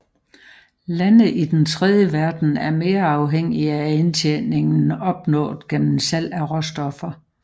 Lande i Den tredje verden er mere afhængige af indtjeningen opnået gennem salg af råstoffer